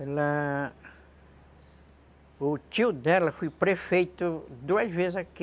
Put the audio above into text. Ela... O tio dela foi prefeito duas vezes aqui.